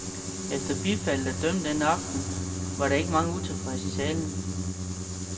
Efter bifaldet at dømme den aften, var der ikke mange utilfredse i salen.